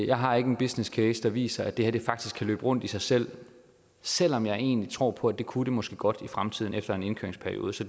jeg har ikke en businesscase der viser at det her faktisk kan løbe rundt i sig selv selv om jeg egentlig tror på at det kunne det måske godt i fremtiden efter en indkøringsperiode så